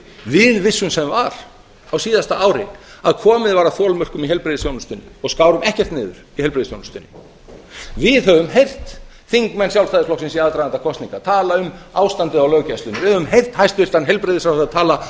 við vissum sem var á síðasta ári að komið var að þolmörkum í heilbrigðisþjónustunni og skárum ekkert niður í heilbrigðisþjónustunni við höfum heyrt þingmenn sjálfstæðisflokksins í aðdraganda kosninga tala um ástandið á löggæslunni við höfum heyrt hæstvirtan heilbrigðisráðherra tala